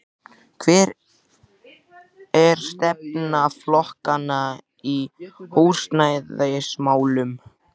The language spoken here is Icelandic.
En hver er stefna flokkanna í húsnæðismálum?